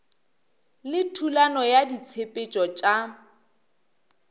le thulano ya ditshepetšo tša